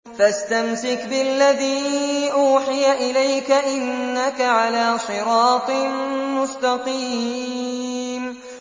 فَاسْتَمْسِكْ بِالَّذِي أُوحِيَ إِلَيْكَ ۖ إِنَّكَ عَلَىٰ صِرَاطٍ مُّسْتَقِيمٍ